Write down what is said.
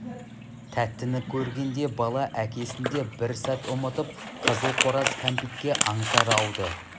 тәттіні көргенде бала әкесін де бір сәт ұмытып қызыл қораз кәмпитке аңсары ауды